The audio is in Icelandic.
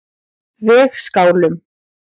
Vegskálum